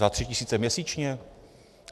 Za tři tisíce měsíčně?